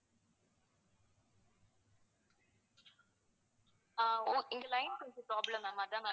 அஹ் உ~இந்த line கொஞ்சம் problem ma'am அதா ma'am